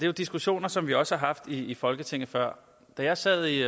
jo diskussioner som vi også har haft i folketinget før da jeg sad i